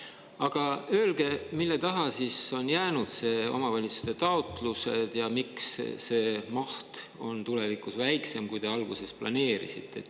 Aga öelge, mille taha on jäänud need omavalitsuste taotlused ja miks see maht on tulevikus väiksem, kui te alguses planeerisite.